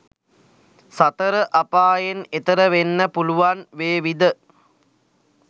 සතර අපායෙන් එතෙර වෙන්න පුළුවන් වේවිද?